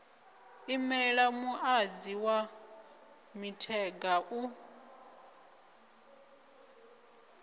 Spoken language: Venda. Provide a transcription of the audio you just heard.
imela muṅadzi wa mithenga u